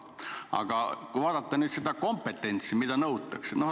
Aga kui vaataks nüüd seda kompetentsi, mida nõutakse.